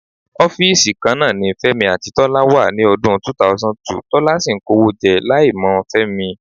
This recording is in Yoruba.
Ọ́fíìsì kan náà ni Fẹ́mi àti Tọ́lá wà ní ọdún 2002, Tọ́lá sì ń kówó jẹ láìmọ̀ Fẹ́mi.